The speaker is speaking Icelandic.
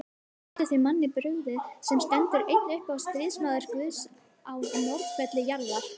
Getur þeim manni brugðið, sem stendur einn uppi sem stríðsmaður Guðs á norðurhveli jarðar?